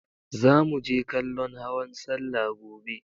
Zamu je kallon hawan salla gobe.